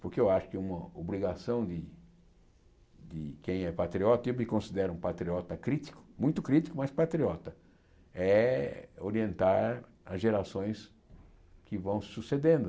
Porque eu acho que uma obrigação de de quem é patriota, eu me considero um patriota crítico, muito crítico, mas patriota, é orientar as gerações que vão sucedendo.